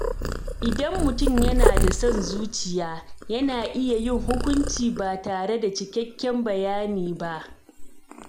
Idan mutum yana da son zuciya, yana iya yin hukunci ba tare da cikakken bayani ba.